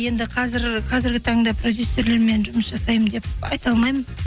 енді қазіргі таңда продюсерлермен жұмыс жасаймын деп айта алмаймын